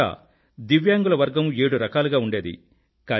మొదట దివ్యాంగుల వర్గం 7 రకలుగా ఉండేది